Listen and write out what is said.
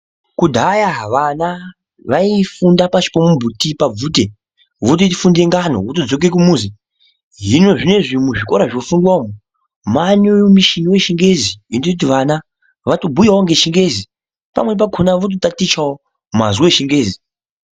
Kudhaya vana vaifunda pachikoro mbuti pabvute votofunde ngano votodzoka kumuzi hino zvinezvi muzvikora mwofundwa umwu mane mishini yechingezi inoita kuti vana vatobhuyawo ngechingezi pamweni pakona vototatichawo mazwi echingezi.